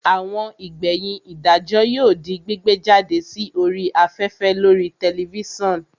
Àwọn ìgbẹ̀yìn ìdájọ́ yóò di gbígbé jáde sí orí afẹ́fẹ́ lórii tẹlifísàn